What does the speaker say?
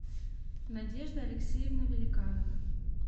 надежда алексеевна великанова